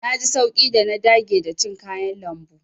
Na ji sauƙi da na dage da cin kayan lambu.